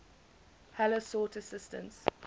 heller sought assistance